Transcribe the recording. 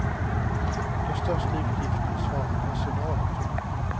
Den största utgiften svarar personalen för.